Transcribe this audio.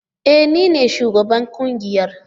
E! Ni ne shugaban kungiyar.